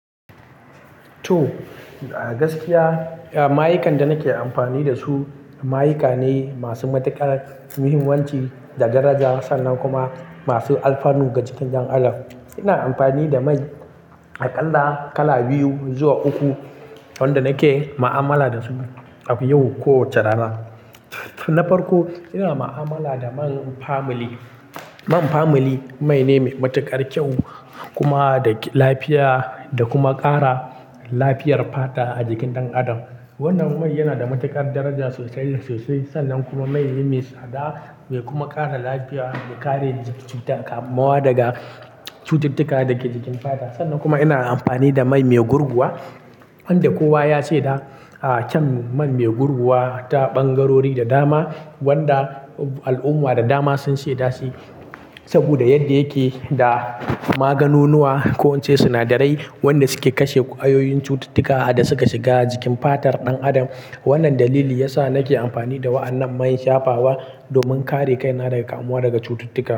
To, a gaskiya, Ah, mayakan da nake amfani dasu, mayakane masu matukar muhimmanci da daraja sannan kuma masu alfanu ga jikin ɗan adam. Ina amfani da mai a ƙalla kala biyu zuwa uku wanda nake ma'amala dasu yau ko rana. Na farko ina ma'amala da man family. Man family mai ne mai matuƙar kyau kuma da lafiya da kuma ƙara lafiyar fata a jikin ɗan adam. Wannan mai yana da matuƙar daraja sosai --sosai sannan kuma mai ne mai tsada mai kuma kare lafiya da kare jiki daga kamuwa daga cututtuka da ke jikin fata. Sannan kuma ina amfani da mai--mai gurguwa, wanda kowa ya she da, a, kyau man mai gurguwa ta ɓangarori da dama wanda al'umma da dama sun ce da shi saboda yadda yake da maganunuwa ko ince sinadarai wanda suke kashe ƙwayoyin cututtuka da suka shiga jikin fatar ɗan adam. Wannan dalili ya sa nake amfani da wa'annan man shafawa domin kare kaina daga kamuwa daga cututtuka.